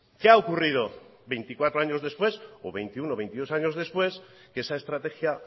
qué ha ocurrido veinticuatro años después o veintiuno o veintidós años después que esa estrategia